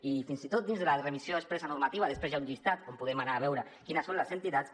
i fins i tot dins de la remissió expressa normativa després hi ha un llistat on podem anar a veure quines són les entitats